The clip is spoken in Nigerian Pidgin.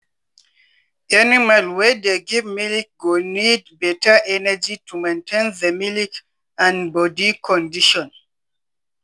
animal wey dey give milk go need better energy to maintain the milk and body condition.